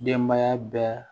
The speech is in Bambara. Denbaya bɛɛ